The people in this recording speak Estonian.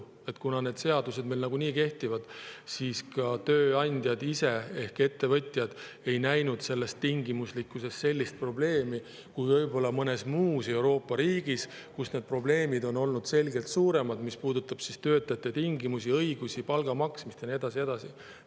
Kuna need seadused meil kehtivad, siis ka tööandjad ise ehk ettevõtjad ei näinud selles tingimuslikkuses sellist probleemi, kui võib-olla mõnes muus Euroopa riigis, kus need probleemid on olnud selgelt suuremad, mis puudutab töötajate tingimusi, õigusi, palga maksmist ja nii edasi ja nii edasi.